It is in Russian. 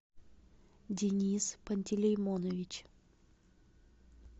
денис пантелеймонович